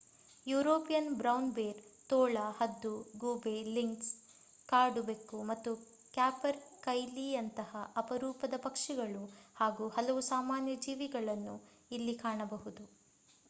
European brown bear ತೋಳ ಹದ್ದು ಗೂಬೆ ಲಿಂಕ್ಸ್ ಕಾಡು ಬೆಕ್ಕು ಮತ್ತು ಕ್ಯಾಪರ್‌ಕೈಲೀಯಂತಹ ಅಪರೂಪದ ಪಕ್ಷಿಗಳು ಹಾಗೂ ಹಲವು ಸಾಮಾನ್ಯ ಜೀವಿಗಳನ್ನು ಇಲ್ಲಿ ಕಾಣಬಹುದು